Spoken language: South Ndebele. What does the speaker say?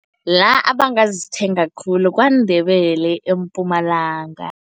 La abangazithenga khulu, KwaNdebele eMpumalanga.